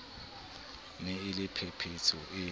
ne e le phephetso e